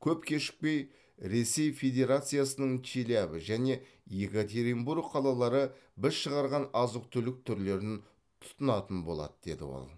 көп кешікпей ресей федерациясының челябі және екатеринбург қалалары біз шығарған азық түлік түрлерін тұтынатын болады деді ол